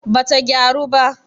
bata gyaru ba